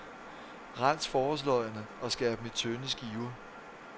Rens forårsløgene og skær dem i tynde skiver.